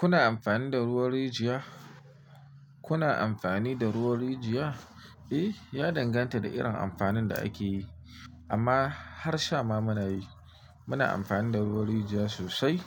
Kuna amfani da ruwan rijiya? Kuna amfani da ruwan rijiya? Eh, ya danganta da irin amfanin da ake yi, amma har sha ma muna yi. Muna amfani da ruwan rijiya sosai,